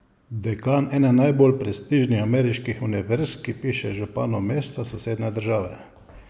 Dekan ene najbolj prestižnih ameriških univerz, ki piše županu mesta sosednje države?